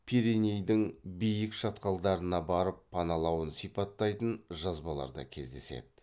пиренейдің биік шатқалдарына барып паналауын сипаттайтын жазбалар да кездеседі